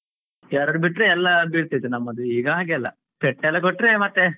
ಎರಡು ಬಿಟ್ರೆ ಎಲ್ಲ ಬೀಳ್ತಿತ್ತು ನಮ್ಮದು ಈಗ ಹಾಗಲ್ಲ ಪೆಟ್ಟು ಎಲ್ಲ ಕೊಟ್ರೆ ಮತ್ತೆ.